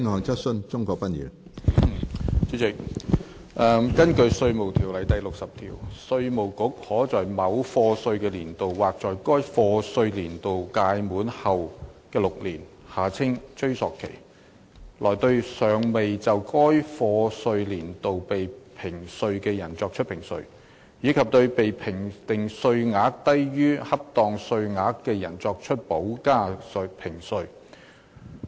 主席，根據《稅務條例》第60條，稅務局可在某課稅年度或在該課稅年度屆滿後6年內，對尚未就該課稅年度被評稅的人作出評稅，以及對被評定稅額低於恰當稅額的人作出補加評稅。